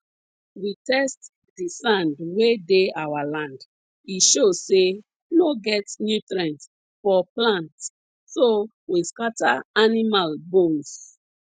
we test de sand wey dey our land e show say no get nutrient for plants so we scatter animal bones